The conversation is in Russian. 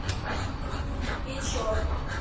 печор